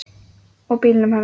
Og bílnum hennar.